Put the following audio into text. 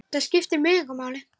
Það skiptir mig engu máli.